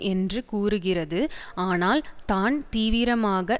என்று கூறுகிறது ஆனால் தான் தீவிரமாக